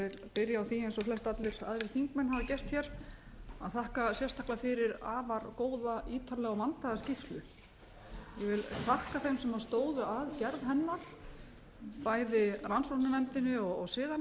flestallir aðrir þingmenn hafa gert hér að þakka sérstaklega fyrir afar góða ítarlega og vandaða skýrslu ég vil þakka þeim sem stóðu að gerð hennar bæði rannsóknarnefndinni og siðanefndinni og ég vil